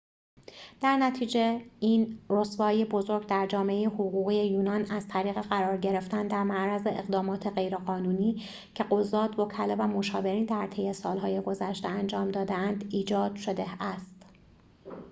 در نتیجه این رسوایی بزرگ در جامعه حقوقی یونان از طریق قرار گرفتن در معرض اقدامات غیرقانونی که قضات وکلا و مشاورین در طی سالهای گذشته انجام داده اند ایجاد شده است